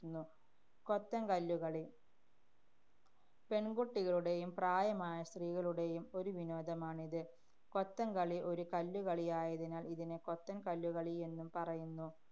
~ത്തുന്നു. കൊത്തന്‍ കല്ലുകളി പെണ്‍കുട്ടികളുടെയും പ്രായമായ സ്ത്രീകളുടെയും ഒരു വിനോദമാണിത്. കൊത്തന്‍കളി ഒരു കല്ലുകളിയായതിനാല്‍ ഇതിനെ കൊത്തന്‍ കല്ലുകളിയെന്നും പറയുന്നു.